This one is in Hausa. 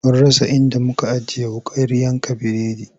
Mun rasa inda muka ajiye wuƙar yanka biredin.